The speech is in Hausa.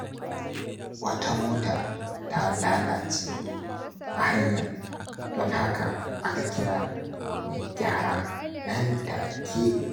Wata mota ta lalace a hanya, don haka aka kira mai gyara nan take.